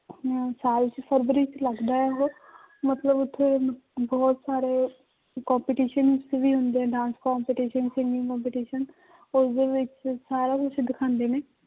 ਸਾਲ ਚ ਫਰਵਰੀ ਚ ਲੱਗਦਾ ਹੈ ਉਹ ਮਤਲਬ ਉੱਥੇ ਬਹੁਤ ਸਾਰੇ competitions ਵੀ ਹੁੰਦੇ dance competition, singing competition ਉਸਦੇ ਵਿੱਚ ਸਾਰਾ ਕੁਛ ਦਿਖਾਉਂਦੇ ਨੇ